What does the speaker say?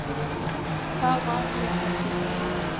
Það var mér erfitt.